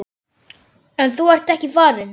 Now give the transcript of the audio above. En þú ert ekki farinn.